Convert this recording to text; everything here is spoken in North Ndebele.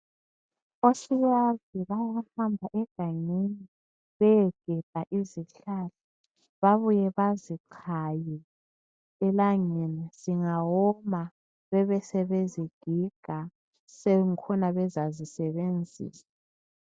Osiyazi bayahamba egangeni beyegebha izihlahla. Babuye bazichaye elangeni zingawoma bebesebezigiga sebengkhona bezazisebenzisa.